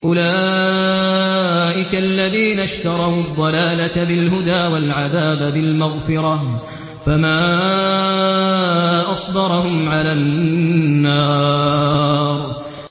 أُولَٰئِكَ الَّذِينَ اشْتَرَوُا الضَّلَالَةَ بِالْهُدَىٰ وَالْعَذَابَ بِالْمَغْفِرَةِ ۚ فَمَا أَصْبَرَهُمْ عَلَى النَّارِ